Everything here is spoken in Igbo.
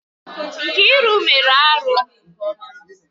Nkiru mere arụ.